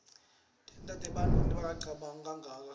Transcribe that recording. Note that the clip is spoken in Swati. tenta bantfu bangacabangi kuganga